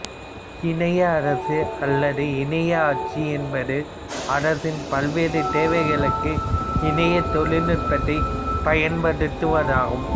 இணைய அரசு அல்லது இணைய ஆட்சி என்பது அரசின் பல்வேறு தேவைகளுக்கு இணைய தொழில்நுட்பத்தை பயன்படுத்துவது ஆகும்